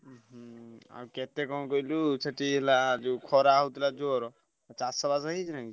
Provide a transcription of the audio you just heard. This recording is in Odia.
ଉଁ ହୁଁ ଆଉ କେତେ କଣ କହିଲୁ ସେଠି ହେଲା ଯୋଉ ଖରା ହଉଥିଲା ଜୋର ଚାଷ ବାସ ହେଇଛି ନା କିଛି?